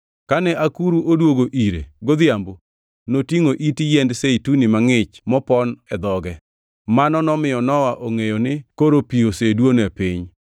Kane akuru odwogo ire godhiambo, notingʼo it yiend zeituni mangʼich mopon e dhoge. Mano nomiyo Nowa ongʼeyo ni koro pi oseduono e piny.